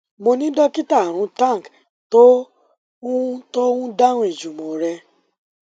mo ni dokita arun tank tó ń tó ń dáhùn ìjùmọ rẹ